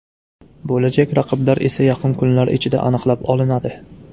Bo‘lajak raqiblar esa yaqin kunlar ichida aniqlab olinadi.